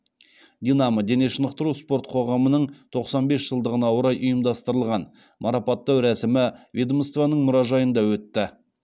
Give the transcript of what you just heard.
динамо дене шынықтыру спорт қоғамының тоқсан бес жылдығына орай ұйымдастырылған марапаттау рәсімі ведомствоның мұражайында өтті